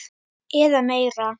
eða meira.